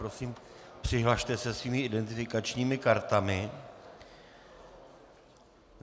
Prosím, přihlaste se svými identifikačními kartami.